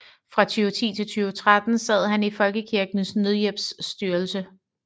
Fra 2010 til 2013 sad han i Folkekirkens Nødhjælps styrelse